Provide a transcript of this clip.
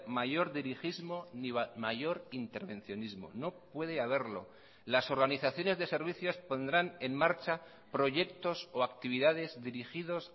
mayor dirigismo ni mayor intervencionismo no puede haberlo las organizaciones de servicios pondrán en marcha proyectos o actividades dirigidos